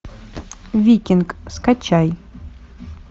викинг скачай